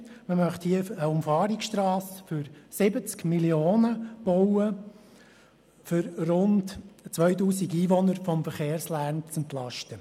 Man möchte hier eine Umfahrungsstrasse für 70 Mio. Franken bauen, um rund 2000 Einwohner vom Verkehrslärm zu entlasten.